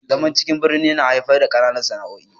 zaman cikin birnin yana haifar kananan sana'o'i